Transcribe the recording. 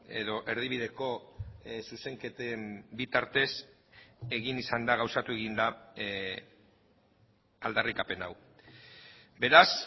edo erdibideko zuzenketen bitartez egin izan da gauzatu egin da aldarrikapen hau beraz